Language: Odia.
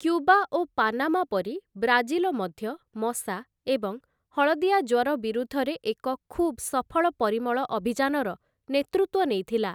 କ୍ୟୁବା ଓ ପାନାମା ପରି ବ୍ରାଜିଲ ମଧ୍ୟ ମଶା ଏବଂ ହଳଦିଆ ଜ୍ୱର ବିରୁଦ୍ଧରେ ଏକ ଖୁବ୍‌ ସଫଳ ପରିମଳ ଅଭିଯାନର ନେତୃତ୍ୱ ନେଇଥିଲା ।